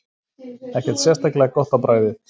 Ekkert sérstaklega gott á bragðið.